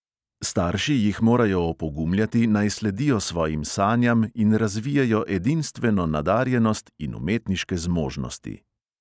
Starši jih morajo opogumljati, naj sledijo svojim sanjam in razvijejo edinstveno nadarjenost in umetniške zmožnosti.